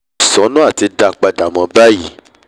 kò sì sọ́nà àti dá a padà mọ́ báyìí